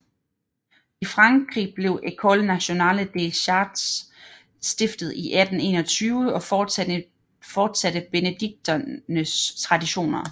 I Frankrig blev École nationale des chartes stiftet i 1821 og fortsatte benediktinernes traditioner